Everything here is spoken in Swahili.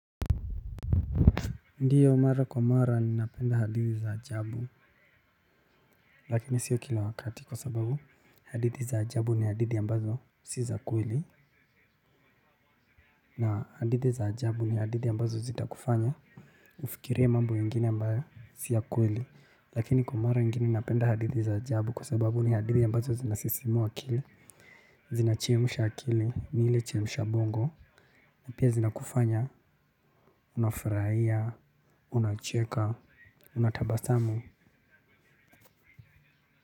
Ndiyo mara kwa mara ninapenda hadithi za ajabu lakini sio kila wakati kwa sababu hadithi za ajabu ni hadithi ambazo si za kweli na hadithi za ajabu ni hadithi ambazo zitakufanya ufikirie mambo ingine ambayo si ya kweli lakini kwa mara ingine napenda hadithi za ajabu kwa sababu ni hadithi ambazo zinasisimua akili zinachemsha akili ni ile chemsha bongo na pia zinakufanya unafurahia unacheka unatabasamu.